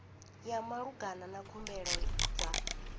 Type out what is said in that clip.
ya malugana na khumbelo dza